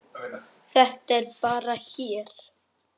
Þetta er bara hér.